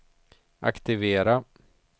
aktivera